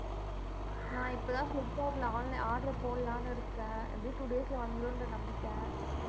நான் இப்பதான் ஃபிளிப்கார்ட்ல online order போடலாம்னு இருக்கேன். எப்படி two days ல வந்துருன்ற நம்பிக்கை.